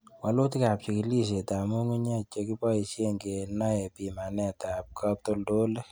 Wolutikab chikilisietab ng'ung'unyek chekebosien kenai pimanetab katoltolik.